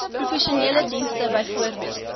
professionele dienste bv